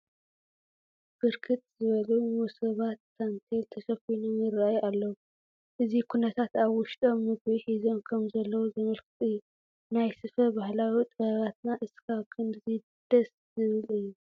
ብርክት ዝበሉ መሶባት ታንቴል ተሸፈኖም ይርአዩ ኣለዉ፡፡ እዚ ኩነታት ኣብ ውሽጦም ምግቢ ሒዞም ከምዘለዉ ዘመልክት እዩ፡፡ ናይ ስፈ ባህላዊ ጥበባትና እስካብ ክንድዚ ደስ ዝብሉ እዮም፡፡